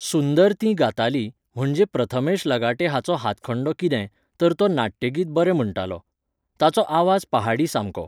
सुंदर तीं गातालीं, म्हणजे प्रथमेश लगाटे हाचो हातखंडो कितें, तर तो नाट्यगीत बरें म्हणटालो. ताचो आवाज पहाडी सामको